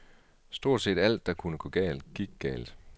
Stort set alt, der kunne gå galt, gik galt.